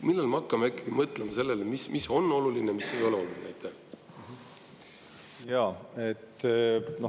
Millal me hakkame mõtlema sellele, mis on oluline ja mis ei ole oluline?